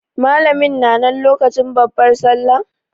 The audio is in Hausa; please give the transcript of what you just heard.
Malamin na nan lokacin babbar sallah?